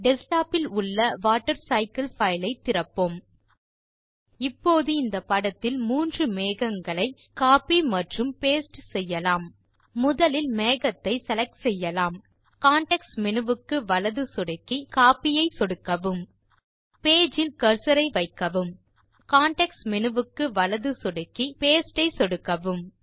desktop இல் உள்ள water cycle file ஐ திறப்போம் இப்போது இந்த படத்தில் மூன்று மேகங்களை கோப்பி மற்றும் பாஸ்டே செய்யலாம் முதலில் மேகத்தை செலக்ட் செய்யலாம் பின் கான்டெக்ஸ்ட் மேனு வுக்கு வலது சொடுக்கவும் பின் கோப்பி ஐ சொடுக்கவும் பேஜ் இல் கர்சர் ஐ வைக்கவும் பின் கான்டெக்ஸ்ட் மேனு வுக்கு வலது சொடுக்கவும் பின் பாஸ்டே ஐ சொடுக்கவும்